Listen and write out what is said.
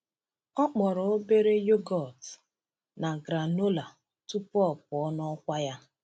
Ọ kpọrọ obere yogọt na granola tupu ọ pụọ n’ọkwa ya.